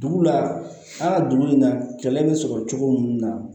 Dugu la an ka dugu in na kɛlɛ bɛ sɔrɔ cogo min na